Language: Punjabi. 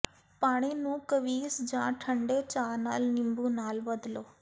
ਪਾਣੀ ਨੂੰ ਕਵੀਸ ਜਾਂ ਠੰਢੇ ਚਾਹ ਨਾਲ ਨਿੰਬੂ ਨਾਲ ਬਦਲੋ